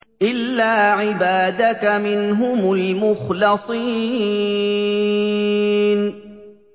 إِلَّا عِبَادَكَ مِنْهُمُ الْمُخْلَصِينَ